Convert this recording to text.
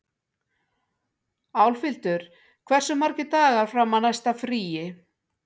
Álfhildur, hversu margir dagar fram að næsta fríi?